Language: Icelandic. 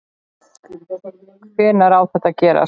Hvenær á þetta að gerast?